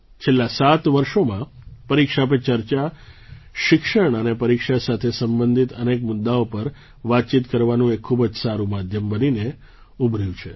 છેલ્લાં સાત વર્ષોમાં પરીક્ષા પે ચર્ચા શિક્ષણ અને પરીક્ષા સાથે સંબંધિત અનેક મુદ્દાઓ પર વાતચીત કરવાનું એક ખૂબ જ સારું માધ્યમ બનીને ઉભર્યું છે